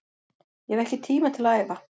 Ég hef ekki tíma til að æfa